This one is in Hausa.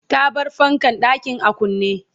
ta bar fankan ɗakin a kunne